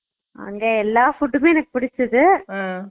அங்க எல்ல food மே எனக்கு புடிச்சுது